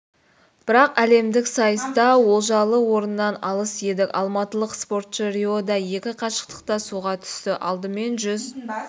бірақ әлемдік сайыста олжалы орыннан алыс едік алматылық спортшы риода екі қашықтықта суға түсті алдымен жүз